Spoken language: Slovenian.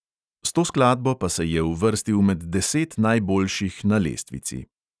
S to skladbo pa se je uvrstil med deset najboljših na lestvici.